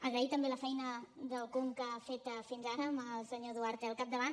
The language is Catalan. agrair també la feina del conca feta fins ara amb el senyor duarte al capdavant